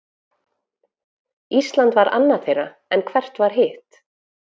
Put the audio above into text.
Ísland var annað þeirra, en hvert var hitt?